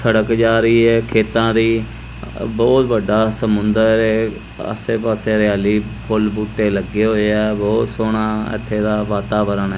ਸੜਕ ਜਾ ਰਹੀ ਹੈ ਖੇਤਾਂ ਦੀ ਬਹੁਤ ਵੱਡਾ ਸਮੁੰਦਰ ਆਸੇ ਪਾਸੇ ਹਰਿਆਲੀ ਫੁੱਲ ਬੂਟੇ ਲੱਗੇ ਹੋਏ ਆ ਬਹੁਤ ਸੋਹਣਾ ਇੱਥੇ ਦਾ ਵਾਤਾਵਰਨ ਐ।